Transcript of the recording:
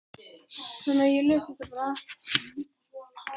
En Lúðvík var ekki á því.